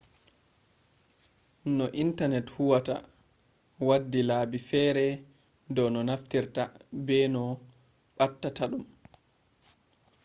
no intanet huwata waddi laabi fere dau no naftirta be no ɓattata ɗum